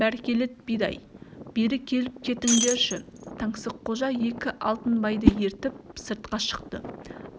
бәркелет бидай бері келіп кетіңдерші таңсыққожа екі алтынбайды ертіп сыртқа шықты